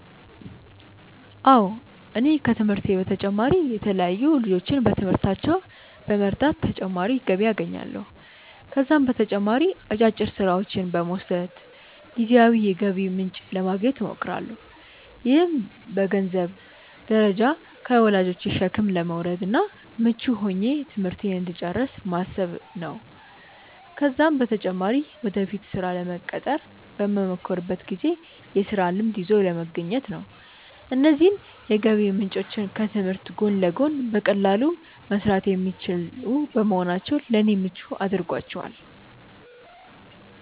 አዎ እኔ ከትምህርቴ በተጨማሪ የተለያዩ ልጆችን በትምህርታቸው በመርዳት ተጨማሪ ገቢ አገኛለሁ። ከዛም በተጨማሪ አጫጭር ስራዎችን በመውሰድ ጊዜያዊ የገቢ ምንጭ ለማግኘት እሞክራለሁ። ይህም በገንዘንብ ደረጃ ከወላጆቼ ሸክም ለመውረድ እና ምቹ ሆኜ ትምህርቴን እንድጨርስ በማሰብ ነው ነው። ከዛም በተጨማሪ ወደፊት ስራ ለመቀጠር በመሞክርበት ጊዜ የስራ ልምድ ይዞ ለመገኘት ነው። እነዚህ የገቢ ምንጮች ከትምህርት ጎን ለጎን በቀላሉ መሰራት የሚችሉ በመሆናቸው ለኔ ምቹ አድርጓቸዋል።